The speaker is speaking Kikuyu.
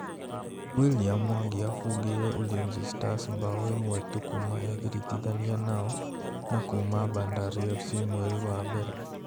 William Mwangi abungĩire Ulinzi Stars mbaũ ĩmwe tu kuma egiritithanie nao na kuma Bandari FC mweri wa mbere.